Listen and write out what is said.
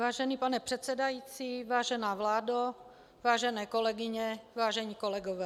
Vážený pane předsedající, vážená vládo, vážené kolegyně, vážení kolegové.